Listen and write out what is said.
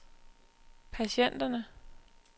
patienterne